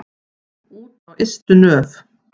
Út á ystu nöf.